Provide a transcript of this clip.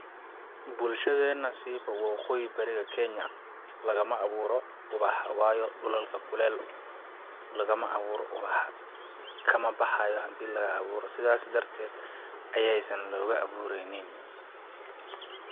Bulshadeena siiba waqooyi bariga kenya lagama awuuro uwaxa waayo dhulalka kuleel lagama awuuro uwaxa ,kama baxaayo hadiii laga awuuro ,sidaasi darteed ayeey san looga awuureynin.